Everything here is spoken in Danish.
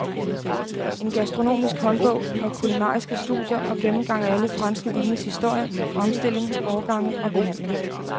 En gastronomisk håndbog med kulinariske studier og gennemgang af alle franske vines historie, fremstilling, årgange og behandling.